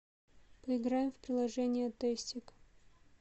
поиграем в приложение тестик